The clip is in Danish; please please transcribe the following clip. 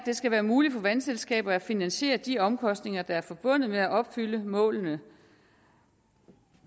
det skal være muligt for vandselskaber at finansiere de omkostninger der er forbundet med at opfylde målene